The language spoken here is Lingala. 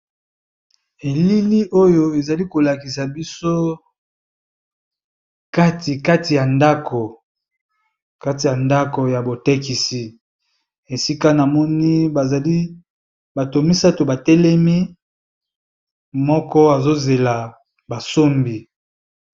ELiLi , Oyo ezali kolakisa biso ! kati kati ya ndako ya botekisi esika na moni bazali bato misato batelemi moko azozela basombi .